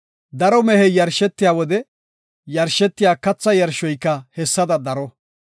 Daro mehey yarshetiya wode yarshetiya katha yarshoyka hessada daro.